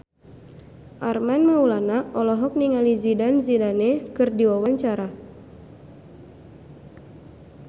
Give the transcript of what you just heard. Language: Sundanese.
Armand Maulana olohok ningali Zidane Zidane keur diwawancara